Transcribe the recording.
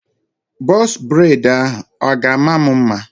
Bọz breid ahụ a ga-ama m mma?